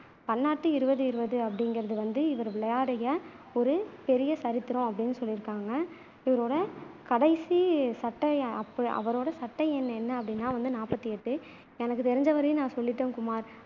பன்னாட்டு இருபது இருபதுங்குறது வந்து இவரு விளையாடிய ஒரு பெரிய சரித்தரம் அப்படின்னு சொல்லியிருக்காங்க இவரோட கடைசி சட்டைய அவரொட சட்டை எண் என்ன அப்படின்னா வந்து நாப்பத்தி எட்டு எனக்கு தெரிஞ்ச வரையும் நான் சொல்லிட்டேன் குமார்